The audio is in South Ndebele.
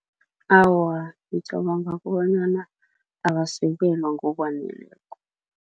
Awa, ngicabanga kobanyana abasekelwa ngokwaneleko.